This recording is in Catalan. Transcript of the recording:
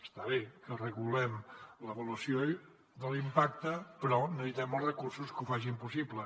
està bé que regulem l’avaluació de l’impacte però necessitem els recursos que ho facin possible